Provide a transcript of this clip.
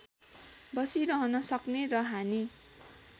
बसिरहन सक्ने र हानि